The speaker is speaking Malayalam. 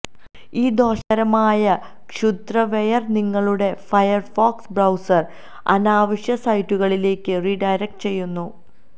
ഈ ദോഷകരമായ ക്ഷുദ്രവെയർ നിങ്ങളുടെ ഫയർഫോക്സ് ബ്രൌസർ അനാവശ്യ സൈറ്റുകളിലേക്ക് റീഡയറക്ട് ചെയ്യുന്നു